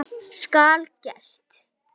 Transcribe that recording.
Skal gert!